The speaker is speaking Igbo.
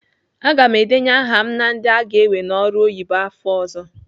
Aga m edenye aha m na ndị aga ewe n'ọrụ oyibo afọ ọ̀zọ́.